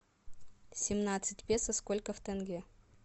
семнадцать песо сколько в тенге